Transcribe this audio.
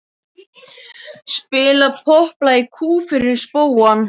Spila popplag í kú fyrir spóann.